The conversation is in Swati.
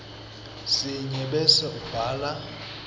sinye bese ubhala